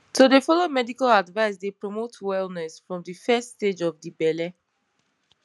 to dey follow medical advice dey promote wellness from de first stage of de belle